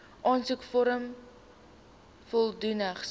aansoekvorm volledig so